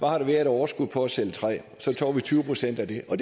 har været af overskud på at sælge træ så tog vi tyve procent af det og